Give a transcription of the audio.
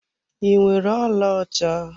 Ị nwere ọlaọcha?